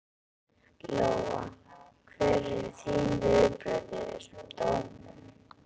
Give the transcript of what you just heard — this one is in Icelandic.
Lóa: Hver eru þín viðbrögð við þessum dómum?